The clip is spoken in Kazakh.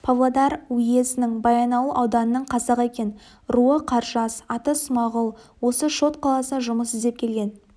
павлодар уезінің баянауыл ауданының қазағы екен руы қаржас аты смағұл осы шот қаласына жұмыс іздеп келген